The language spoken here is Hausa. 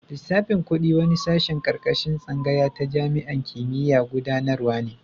Lissafin kudi wani sashen karkashin tsangaya ta jami'an kimiyya'n gudanarwa ne.